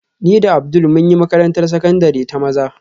Ni da Abdul mun yi makarantar sakandare ta maza